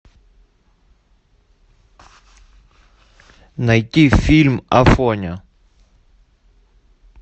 найти фильм афоня